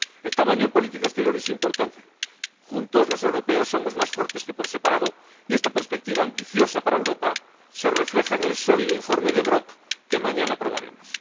En segundo lugar, el tamaño en política exterior es importante, juntos los europeos somos más fuertes que por separado, y esta perspectiva ambiciosa para Europa se refleja en el sólido informe del señor Brok que mañana aprobaremos.